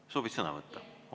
Kas soovid sõna võtta?